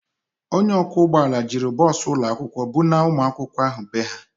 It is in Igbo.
Onye ọkwọ ụgbọala jiri bọọsụ ụlọakwụkwọ bunaa ụmụakwụkwọ ahụ bee ha.